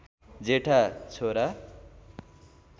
जेठा छोरा